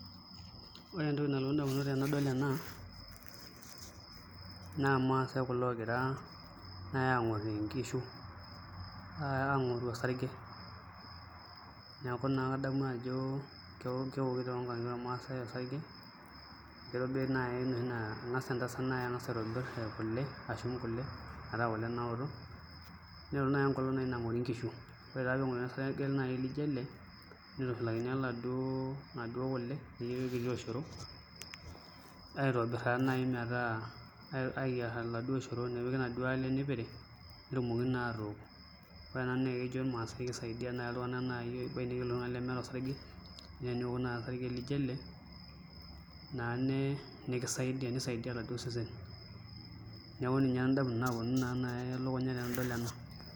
Ore entoki nalotu indamunot tenadol ena naa irmaasae kulo oogira naai aang'orr nkishu aang'oru osarge neeku naa kadamu ajo keoki toonkang'itie ormaasae osarge kitobiri naai enoshi naa keng'as entasat ashum kule metaa kule naoto ning'oruni naai enkolong' nang'ori nkishu ore naa pee eng'oruni osarge lijio ele nitushulakini inaduo kule nepiki orkiti oshoro aitobirr taaduo naai metaa ayierr oladuo oshoro nepiki inaduo ale nipiri netumoki naa atook ore ena naa kejo irmaasae kisaidia amu keponiki iltunganak lemeeta osarge naa teniok naai osarge lijio ele nisaidia oladuo sesen neeku ninye indamunot naaponu elukunya tenadol ena.